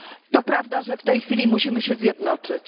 To prawda, że w tej chwili musimy się zjednoczyć.